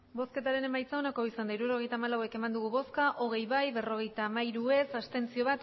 hirurogeita hamalau eman dugu bozka hogei bai berrogeita hamairu ez bat abstentzio